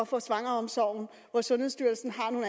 fra svangreomsorgen hvor sundhedsstyrelsen har nogle